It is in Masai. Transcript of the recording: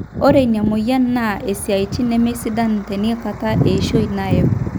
ore ina mweyian naa isiatin nemesidan teinakata eishoi naayau